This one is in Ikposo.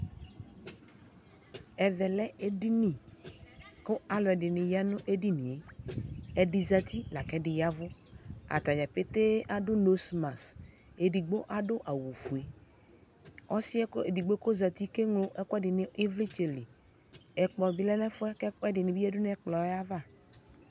Ɛvɛ lɛ edini kʋ alʋɛdɩnɩ ya nʋ edini yɛ Ɛdɩ zati la kʋ ɛdɩ ya ɛvʋ Ata dza petee adʋ nosmas Edigbo adʋ awʋfue Ɔsɩ yɛ kʋ edigbo kʋ ɔzati keŋlo ɛkʋɛdɩ nʋ ɩvlɩtsɛ li Ɛkplɔ bɩ lɛ nʋ ɛfʋ yɛ kʋ ɛkʋɛdɩnɩ bɩ yǝdu nʋ ɛkplɔ yɛ ava